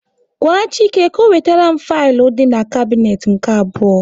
Gwa Chike ka ọ wetere m filu dị n'kabnet nke abụọ